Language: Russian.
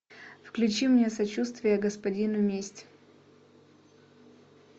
включи мне сочувствие господину месть